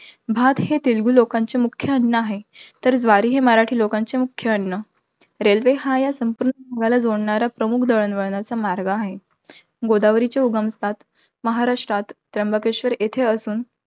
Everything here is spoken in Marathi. भात हे तेलगु लोकांचे मुख्य अन्न आहे. तर ज्वारी हे मराठी लोकांचे मुख्य अन्न. Railway हा या संपूर्ण भागाला जोडणारा, प्रमुख दळणवळणाचा मार्ग आहे. गोदावरीचे उगम स्थान महाराष्ट्रात, त्र्यंबकेश्वर येथे असून